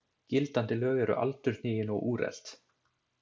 Gildandi lög eru aldurhnigin og úrelt.